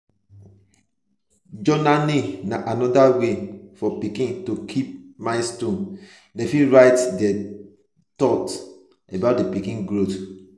journalling na anoda wey for parents to keep milestone dem fit write their though about di di pikin growth